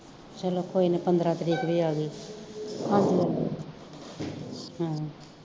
ਚਲੋ ਕੋਈ ਨਾ ਪੰਦਰਾਂ ਤਰੀਕ ਵੀ ਆਗੀ ਹਮ